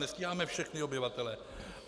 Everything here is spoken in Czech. Nestíháme všechny obyvatele.